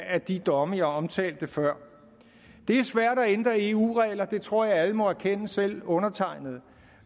af de domme jeg omtalte før det er svært at ændre eu regler det tror jeg alle må erkende selv undertegnede